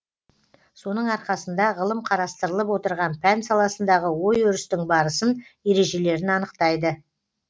соның арқасында ғылым қарастырылып отырған пән саласындағы ой өрістің барысын ережелерін анықтайды